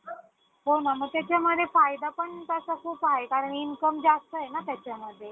नाहीतर विनाकारण या जाळ्यात अडकण्याची खूप शक्यता असते मुलांना.